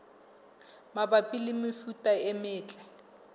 mabapi le mefuta e metle